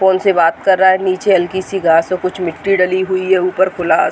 Phone से बात कर रहा है। नीचे हल्की सी घास पे मिट्टी डली हुई है। ऊपर खुला --